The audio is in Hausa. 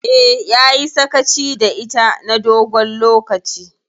Eh, yayi sakaci da ita na dogon lokaci.